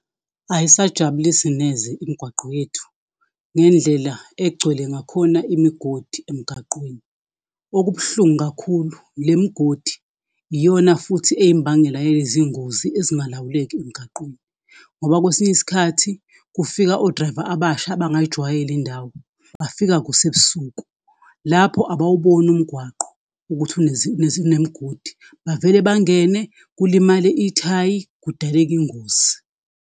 Ayisajabulisi neze imigwaqo yethu ngendlela egcwele ngakhona imigodi emgaqweni. Okubuhlungu kakhulu le migodi iyona futhi eyimbangela yezingozi ezingalawuleki emgaqweni, ngoba kwesinye isikhathi kufika o-driver abasha abangayijwayele indawo, bafika kusebusuku, lapho abawuboni umgwaqo ukuthi inemigodi bavele bangene, kulimale ithayi, kudaleka ingoz.i